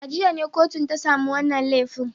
A jiya ne kotun ta samu wannan laifin.